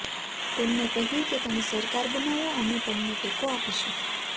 તેમને કહ્યું કે તમે સરકાર બનાવો અમે તમને ટેકો આપીશું